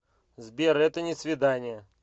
сбер это не свидание